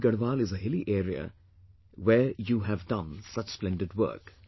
Pauri Garhwal is a hilly area where you have done such splendid work